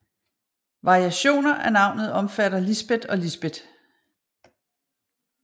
Variationer af navnet omfatter Lisbet og Lisbett